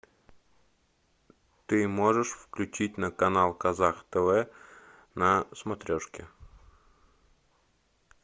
ты можешь включить на канал казах тв на смотрешке